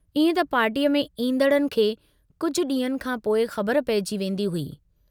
इएं त पार्टीअ में ईन्दड़नि खे कुझ डींहंनि खां पोइ ख़बर पइजी वेन्दी हुई।